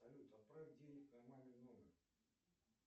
салют отправь денег на мамин номер